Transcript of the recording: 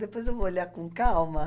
Depois eu vou olhar com calma.